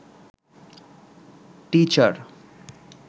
teacher